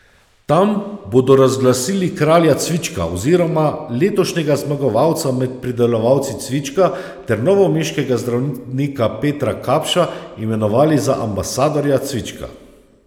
Tam bodo razglasili kralja cvička oziroma letošnjega zmagovalca med pridelovalci cvička ter novomeškega zdravnika Petra Kapša imenovali za ambasadorja cvička.